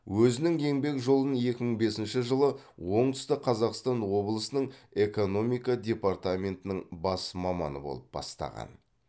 өзінің еңбек жолын екі мың бесінші жылы оңтүстік қазақстан облысының экономика департаментінің бас маманы болып бастаған